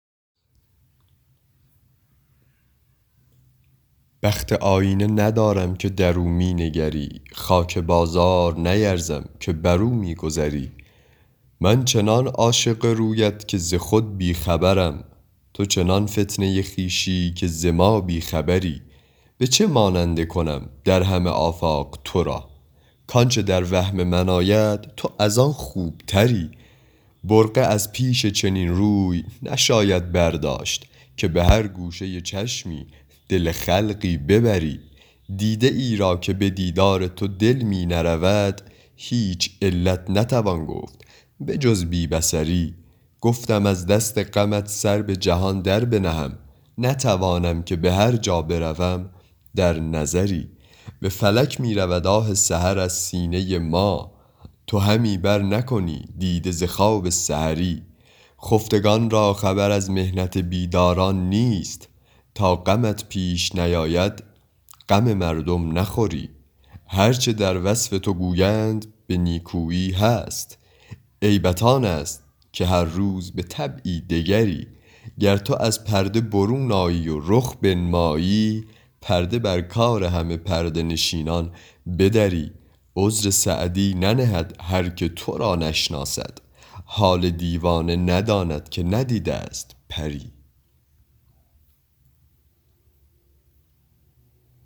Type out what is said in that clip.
بخت آیینه ندارم که در او می نگری خاک بازار نیرزم که بر او می گذری من چنان عاشق رویت که ز خود بی خبرم تو چنان فتنه خویشی که ز ما بی خبری به چه ماننده کنم در همه آفاق تو را کآنچه در وهم من آید تو از آن خوبتری برقع از پیش چنین روی نشاید برداشت که به هر گوشه چشمی دل خلقی ببری دیده ای را که به دیدار تو دل می نرود هیچ علت نتوان گفت به جز بی بصری گفتم از دست غمت سر به جهان در بنهم نتوانم که به هر جا بروم در نظری به فلک می رود آه سحر از سینه ما تو همی برنکنی دیده ز خواب سحری خفتگان را خبر از محنت بیداران نیست تا غمت پیش نیاید غم مردم نخوری هر چه در وصف تو گویند به نیکویی هست عیبت آن است که هر روز به طبعی دگری گر تو از پرده برون آیی و رخ بنمایی پرده بر کار همه پرده نشینان بدری عذر سعدی ننهد هر که تو را نشناسد حال دیوانه نداند که ندیده ست پری